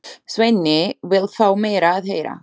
Svenni vill fá meira að heyra.